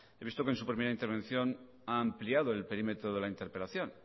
he visto que en su primera intervención ha ampliado el perímetro de la interpelación